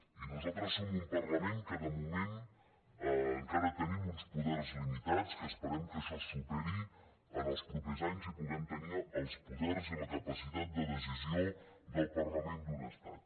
i nosaltres som un parlament que de moment encara tenim uns poders limitats que esperem que això se superi en els propers anys i puguem tenir els poders i la capacitat de decisió del parlament d’un estat